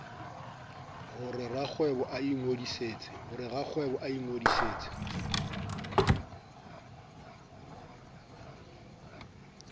ho re rakgwebo a ingodisetse